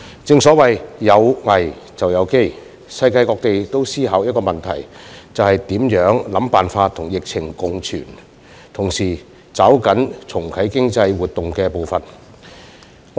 正所謂"有危便有機"，世界各地都在思考一個問題，就是想辦法跟疫情共存而同時抓緊重啟經濟活動的步伐。